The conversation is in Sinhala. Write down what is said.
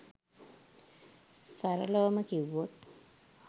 සරලවම කිව්වොත්